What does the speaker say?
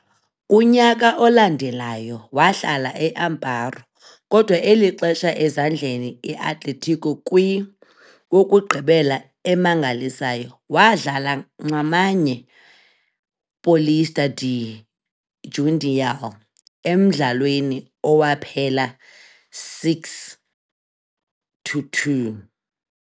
kunyaka olandelayo wahlala e Amparo, kodwa eli xesha ezandleni Atletico kwi wokugqibela emangalisayo, wadlala nxamnye Paulista de Jundiaí, emdlalweni owaphela 6-2.